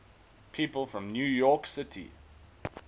people from new york city